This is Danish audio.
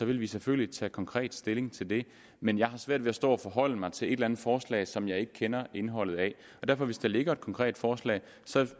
vil vi selvfølgelig tage konkret stilling til det men jeg har svært ved at stå og forholde mig til et eller andet forslag som jeg ikke kender indholdet af og hvis der ligger et konkret forslag